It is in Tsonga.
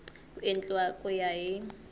ku endliwa ku ya hi